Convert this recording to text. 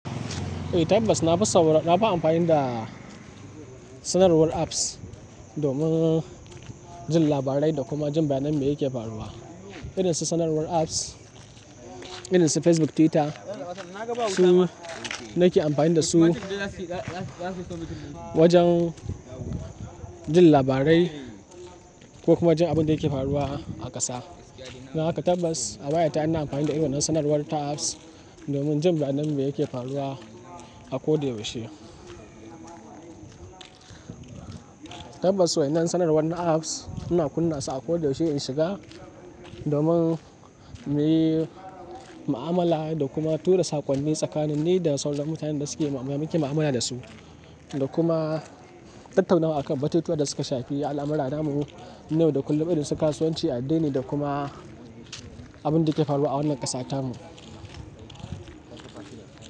Eh tabbas na fi amfani da sanarwar apps domin jin labarai da kuma jin bayan me yake faruwa. Irin su sanarwar apps, irin su Facebook, Twitter. Su ma nake amfani da su wajen jin labarai ko kuma jin abin da yake faruwa a ƙasa. Don haka tabbas a wayata ina amfani da irin wannan sanarwar ta apps domin jin bayan abin da yake faruwa a ko da yaushe. Tabbas waɗannan sanarwar na apps ina kunna su a ko da yaushe in shiga domin muyi ma'amala da kuma tura sakonni tsakanin ni da sauran mutanen da muke mu'amala dasu. Da kuma tattaunawa akan batutuwan da suka shafi al'amuran namu. Na yau da kullum irin su kasuwanci, addini da kuma abin da ke faruwa a wannan ƙasata mu.